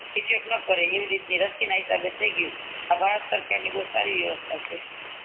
એવી રીતે રસી ના લીધે થી ગયું આ ભારત સરકાર ની બૌ સારી વ્યવસ્થા છે